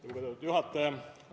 Lugupeetud juhataja!